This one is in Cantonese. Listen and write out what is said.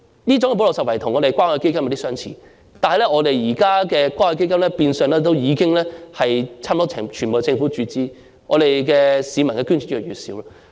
這種補漏拾遺的做法與關愛基金的作用有點相似，但現時關愛基金變相已經全由政府注資，市民的捐助越來越少。